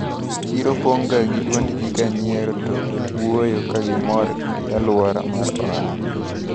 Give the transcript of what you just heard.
Chiro pong` ga gi duond ji kanyiero to wuoyo kagimor gi aluora mar ohala.